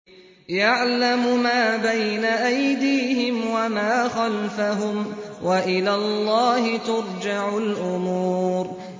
يَعْلَمُ مَا بَيْنَ أَيْدِيهِمْ وَمَا خَلْفَهُمْ ۗ وَإِلَى اللَّهِ تُرْجَعُ الْأُمُورُ